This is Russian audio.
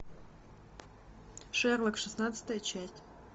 шерлок шестнадцатая часть